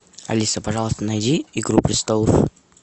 алиса пожалуйста найди игру престолов